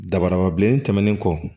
Dabadaba bilen tɛmɛnen kɔ